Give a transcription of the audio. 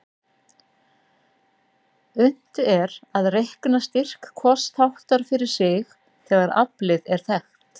Unnt er að reikna styrk hvors þáttar fyrir sig þegar aflið er þekkt.